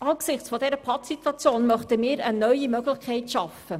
Angesichts dieser Pattsituation möchten wir eine neue Möglichkeit schaffen.